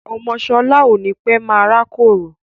Ọmọ sọlá ó ní pẹ́ máa rákòrò